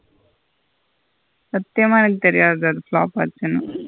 சத்தியமா எனக்கு தெரியாது அது flop ஆச்சின்னு.